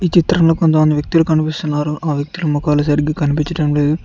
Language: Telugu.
ఈ చిత్రంలో కొంతమంది వ్యక్తులు కనిపిస్తున్నారు ఆ వ్యక్తుల మొఖాలు సరిగ్గ కనిపించటం లేదు.